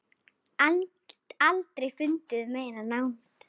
Aldrei fundið meiri nánd.